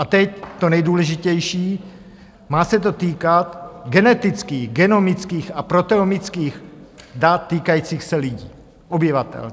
A teď to nejdůležitější, má se to týkat genetických, genomických a proteomických dat týkajících se lidí, obyvatel.